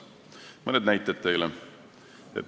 Mõned näited teile.